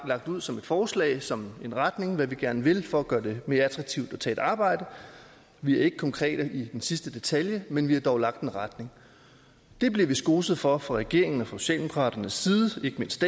ud som et forslag som en retning for hvad vi gerne vil for at gøre det mere attraktivt at tage et arbejde vi er ikke konkrete i den sidste detalje men vi har dog lagt en retning det bliver vi skoset for fra regeringen og socialdemokraternes side